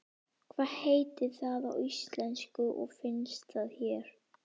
Hvað heitir það á íslensku og finnst það hér?